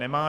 Nemá.